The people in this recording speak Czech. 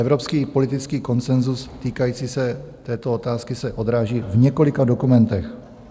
Evropský politický konsenzus týkající se této otázky se odráží v několika dokumentech.